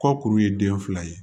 Kɔkuru ye den fila ye